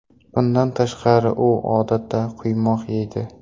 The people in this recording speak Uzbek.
Bundan tashqari, u odatda quymoq yeydi.